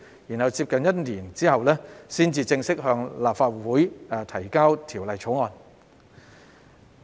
再過了大約1年後，才正式向立法會提交《條例草案》。